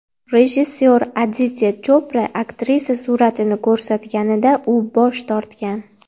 Rejissor Aditya Chopra aktrisa suratini ko‘rsatganida u bosh tortgan.